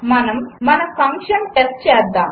మనము మన function test చేద్దాము